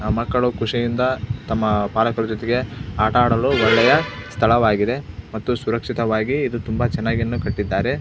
ನಮ್ಮ ಮಕ್ಕಳು ಖುಷಿಯಿಂದಾ ತಮ್ಮ ಪಾಲಕರ ಜೊತೆಗೆ ಆಟ ಆಡಲು ಒಳ್ಳೆಯ ಸ್ಥಳವಾಗಿದೆ ಮತ್ತು ಸುರಕ್ಷಿತವಾಗಿ ಇದು ತುಂಬಾ ಚನ್ನಾಗಿ ಕಟ್ಟಿದ್ದಾರೆ.